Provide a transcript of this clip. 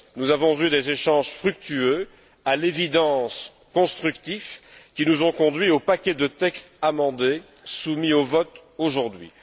Nous avons eu des échanges fructueux, à l'évidence constructifs, qui nous ont conduits au paquet de textes amendés, soumis au vote aujourd'hui.